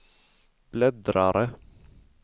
bläddrare